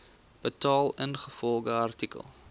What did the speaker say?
betaal ingevolge artikel